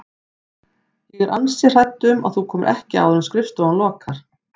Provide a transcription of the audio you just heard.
Ég er ansi hrædd um að þú komir ekki áður en skrifstofan lokar